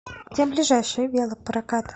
где ближайший велопрокат